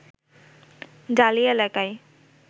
dahlia এলাকায়